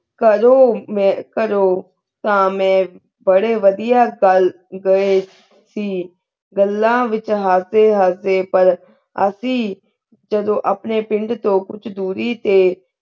ਕਲ ਊ ਮੈਂ ਕਰੋ ਤਾ ਮੈਂ ਬਰੀ ਵੜਿਆ ਗਲ ਗਾਏ ਸੇ ਗੱਲਾ ਵਿਚੋ ਹਸੀ ਹਸਦੇ ਪਰ ਅਸੀਂ ਜਦੋ ਅਪਨੀ ਪਿੰਡ ਤੋ ਕੁਛ ਤੋਰੀ ਤੇ